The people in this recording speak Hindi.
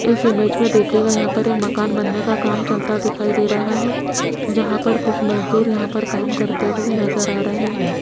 इस इमेज में देखियेगा यहां पर एक मकान बनने का काम चलता दिखाई दे रहा है जहां पर कुछ मजदूर यहां पर काम करते हुए नजर आ रहे हैं।